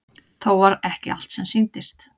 Þó var ekki allt sem sýndist.